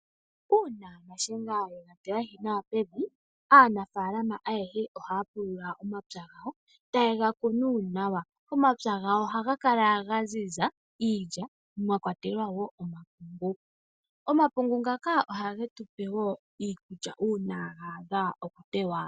Una shiyenga ega tilahi nawa pevi, aanafalama ayehe ohaya pulula omapya gawo, taye ga kunu nawa. Omapya gawo ohaga kala ga ziza iilya, mwa kwatelwa wo omapungu. Omapungu ngaka ohage tupe wo iikulya una ga adha okuteywa.